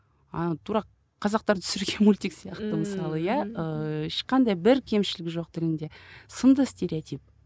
ана тура қазақтар түсірген мультик сияқты мысалы иә ыыы ешқандай бір кемшілігі жоқ тілінде сынды стереотип